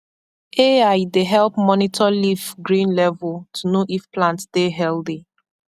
ai dey help monitor leaf green level to know if plant dey healthy